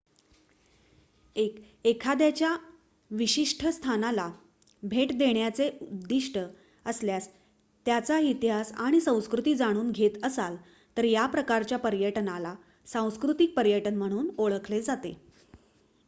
1 एखाद्याच्या विशिष्ट स्थानाला भेट देण्याचे उद्दीष्ट असल्यास त्याचा इतिहास आणि संस्कृती जाणून घेत असाल तर या प्रकारच्या पर्यटनाला सांस्कृतिक पर्यटन म्हणून ओळखले जाते